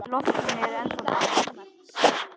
Í loftinu er ennþá ball.